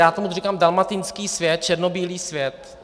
Já tomuto říkám dalmatinský svět, černobílý svět.